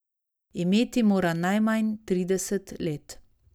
Imeti mora najmanj trideset let.